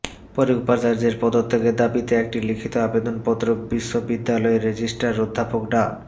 পরে উপাচার্যের পদত্যাগের দাবিতে একটি লিখিত আবেদনপত্র বিশ্ববিদ্যালয়ের রেজিস্টার অধ্যাপক ডা